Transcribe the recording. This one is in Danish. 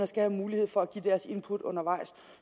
skal have mulighed for at give deres input undervejs